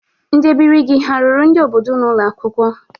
Ndị ebiri gị ha rụrụ ndị obodo unu ụlọ akwụkwọ?